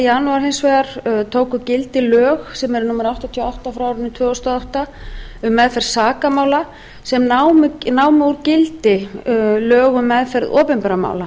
janúar hins vegar tóku gildi lög sem eru númer áttatíu og átta tvö þúsund og átta um meðferð sakamála sem námu úr gildi lög um meðferð opinberra mála